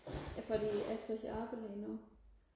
fordi jeg søger arbejde lige nu